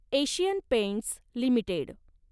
Asian Paints limited